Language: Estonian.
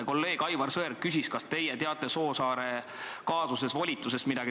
Kolleeg Aivar Sõerd küsis, kas teie teate midagi volitusest Soosaarte kaasuses.